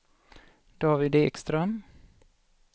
David Ekström